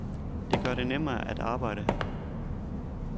Det gør det nemmere at arbejde her.